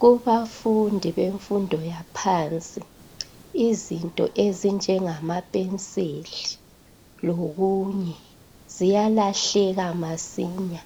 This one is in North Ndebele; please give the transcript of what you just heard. Kubafundi bemfundo yaphansi izinto ezinjengama penseli lokunye ziyalahleka masinya